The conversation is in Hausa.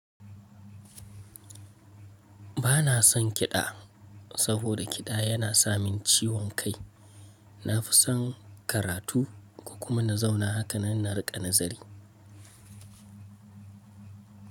Bana son kiɗa saboda kiɗa yana samin ciwon kai. Na fi son karatu kuma na zauna hakan na riƙa nazari.